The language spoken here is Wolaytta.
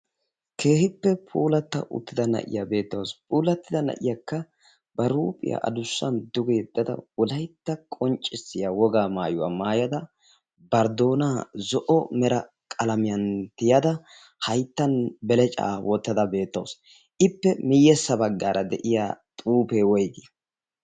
Keehippe puulatta uttida na'iya beettawusu. Puulattida na'iyakka bari huuphiya duge yeddada, Wolaytta qonccissiya wogaa maayuwa maayada, bari doonaa zo'o mera qalamiyan tiyada, hayttan belecaa wottada beettawusu. Ippe miyyessa baggaara de'iya xuufee woygii?